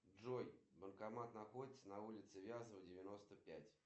салют супер интересный факт на сегодня